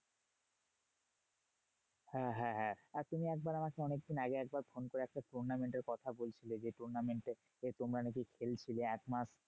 হ্যাঁ হ্যাঁ হ্যাঁ আর তুমি একবার আমাকে অনেকদিন আগে একবার ফোন করে একটা tournament এর কথা বলছিলে। যে tournament এ তোমরা নাকি খেলছিলে এক মাস